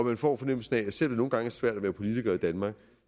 man får fornemmelsen af at selv om det nogle gange er svært at være politiker i danmark